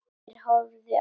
Geir horfði á Stjána.